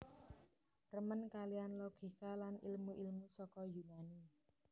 Remen kaliyan logika lan ilmu ilmu saka Yunani